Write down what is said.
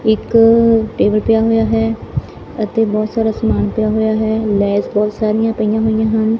ਇੱਕ ਟੇਬਲ ਪਿਆ ਹੋਇਆ ਹੈ ਅਤੇ ਬਹੁਤ ਸਾਰਾ ਸਮਾਨ ਪਿਆ ਹੋਇਆ ਹੈ ਲੈਬਸ ਬਹੁਤ ਸਾਰੀਆਂ ਪਈਆਂ ਹੋਈਆਂ ਹਨ।